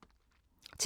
TV 2